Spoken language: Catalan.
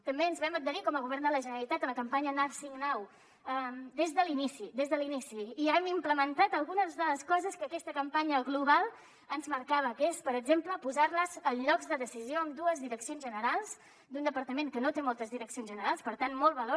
també ens vam adherir com a govern de la generalitat a la campanya nursing now des de l’inici des de l’inici i ja hem implementat algunes de les coses que aquesta campanya global ens marcava que és per exemple posar les en llocs de decisió en dues direccions generals d’un departament que no té moltes direccions generals per tant molt valor